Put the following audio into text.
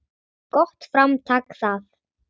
Gott framtak það.